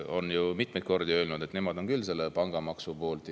– on ju mitmeid kordi öelnud, et nemad on küll pangamaksu poolt.